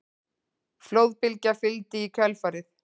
Flóðbylgja fylgdi í kjölfarið